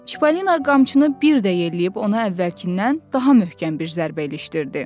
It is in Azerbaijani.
Çipalina qamçını bir də yelləyib ona əvvəlkindən daha möhkəm bir zərbə ilişdirdi.